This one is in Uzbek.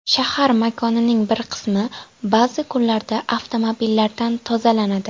Shahar makonining bir qismi ba’zi kunlarda avtomobillardan tozalanadi.